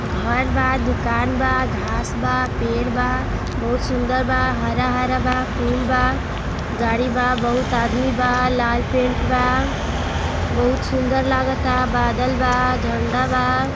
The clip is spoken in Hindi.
घर बा दुकान बा घास बा पेड़ बा बहुत सुन्दर बा हरा हरा बा पूल बा गाड़ी बा बहुत आदमी बा लाल पेंट बा बहुत सुन्दर लागा ता बादल बा झंडा बा।